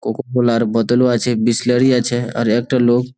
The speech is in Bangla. কোকো কোলা র বোতলও আছে বিসলারি আছে আর একটা লোক।